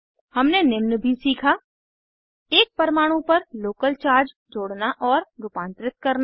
हमने निम्न भी सीखा एक परमाणु पर लोकल चार्ज जोड़ना और रूपांतरित करना